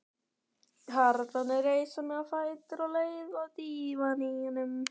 Karlarnir reisa mig á fætur og leiða að dívaninum.